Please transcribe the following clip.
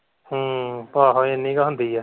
ਹਮ ਆਹੋ ਇੰਨੀ ਕੀ ਹੁੰਦੀ ਹੈ।